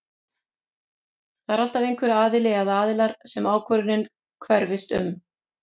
Það er alltaf einhver aðili eða aðilar sem ákvörðunin hverfist um.